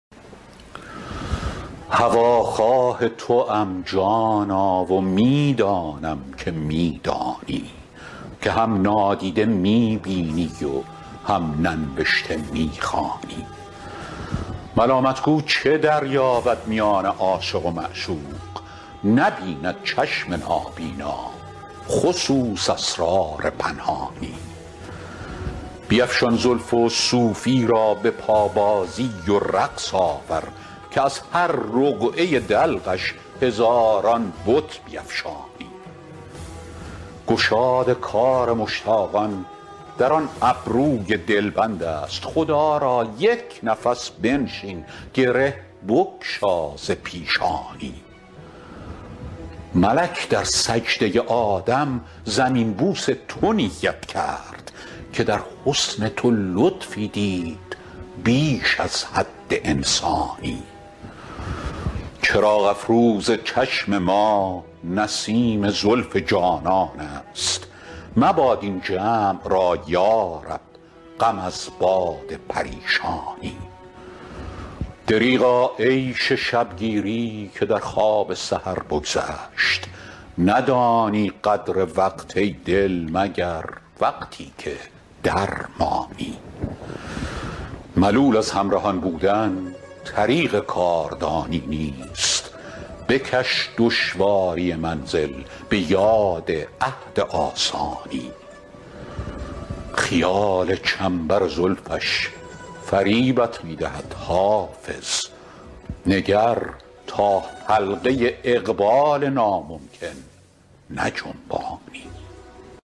هواخواه توام جانا و می دانم که می دانی که هم نادیده می بینی و هم ننوشته می خوانی ملامت گو چه دریابد میان عاشق و معشوق نبیند چشم نابینا خصوص اسرار پنهانی بیفشان زلف و صوفی را به پابازی و رقص آور که از هر رقعه دلقش هزاران بت بیفشانی گشاد کار مشتاقان در آن ابروی دلبند است خدا را یک نفس بنشین گره بگشا ز پیشانی ملک در سجده آدم زمین بوس تو نیت کرد که در حسن تو لطفی دید بیش از حد انسانی چراغ افروز چشم ما نسیم زلف جانان است مباد این جمع را یا رب غم از باد پریشانی دریغا عیش شب گیری که در خواب سحر بگذشت ندانی قدر وقت ای دل مگر وقتی که درمانی ملول از همرهان بودن طریق کاردانی نیست بکش دشواری منزل به یاد عهد آسانی خیال چنبر زلفش فریبت می دهد حافظ نگر تا حلقه اقبال ناممکن نجنبانی